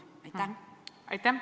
Aitäh!